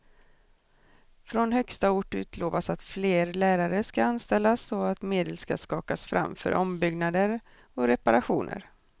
Från högsta ort utlovas att fler lärare ska anställas och att medel ska skakas fram för ombyggnader och reparationer.